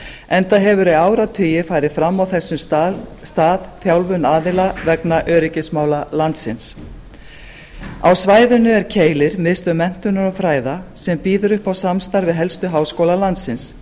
enda hefur í áratugi farið fram á þess stað þjálfun aðila vegna öryggismála landsins á svæðinu er keilir miðstöð menntunar og fræða sem býður upp á samstarf við helstu háskóla landsins